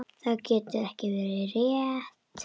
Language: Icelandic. Það getur ekki verið rétt.